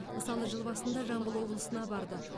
мысалы жыл басында жамбыл облысына барды